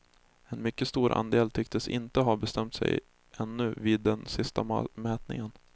En mycket stor andel tycktes inte ha bestämt sig ännu vid den sista mätningen.